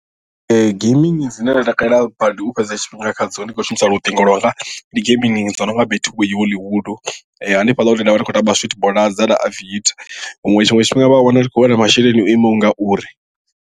Ee gambling dzine nda takalela badi u fhedza tshifhinga khadzo ndi khou shumisa luṱingo lwanga ndi gambling dzo no nga betway hollywood hanefhaḽa hune ndavha ndi kho tamba sweet bonanza na aviator huṅwe tshiṅwe tshifhinga vha a wana ndi khou wana masheleni o imaho ngauri.